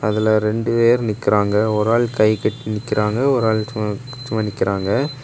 இதுல ரெண்டுபேர் நிக்கிறாங்க ஒரு ஆள் கைகட்டி நிக்கிறாங்க ஒரு ஆள் சும் சும்மா நிக்கிறாங்க.